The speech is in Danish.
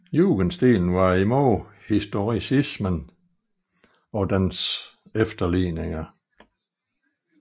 Jugendstilen var imod historicismen og dens efterligninger